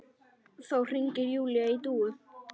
Þá hringir Júlía í Dúu.